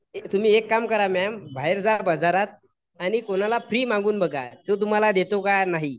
तुम्ही एक काम करा मॅम बाहेर जा बाजारात, आणि कोणाला फ्री मागून बघा जो तुम्हाला देतो का नाही.